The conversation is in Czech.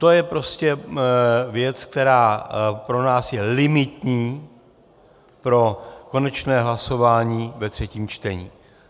To je prostě věc, která pro nás je limitní pro konečné hlasování ve třetím čtení.